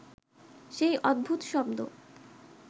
সেই অদ্ভুত শব্দ